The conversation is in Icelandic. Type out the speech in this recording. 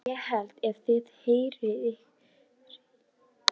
ÉG HELLI EF ÞIÐ HREYFIÐ YKKUR!